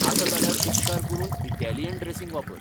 आसा जाल्यार, उपकार करून इटॅलियन ड्रॅसिंग वापर.